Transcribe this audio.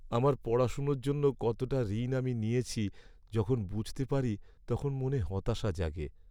আমার পড়াশোনার জন্য কতটা ঋণ আমি নিয়েছি যখন বুঝতে পারি তখন মনে হতাশা জাগে!